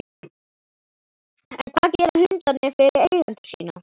En hvað gera hundarnir fyrir eigendur sína?